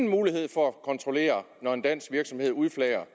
mulighed for at kontrollere når en dansk virksomhed udflager